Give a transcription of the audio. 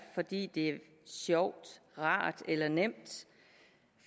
fordi det er sjovt rart eller nemt